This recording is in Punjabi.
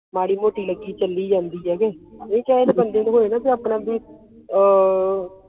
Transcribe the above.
ਮਾੜੀ ਮੋਤੀ ਲੱਗੀ ਚੱਲੀ ਜਾਂਦੀ ਆ ਕੇ ਚੇ ਪੀ ਬੰਦੇ ਨੂੰ ਹੋਵੇ ਨਾ ਆਪਣਾ ਪੀ ਆਹ